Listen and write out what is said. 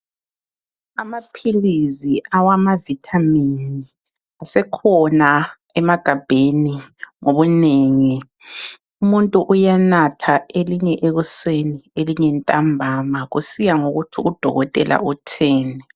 Amaphilizi awama vithamini asekhona emagabheni ngobunengi, umuntu uyanatha elinye ekuseni elinye ntambama kusiya ngokuthi udokotela utheni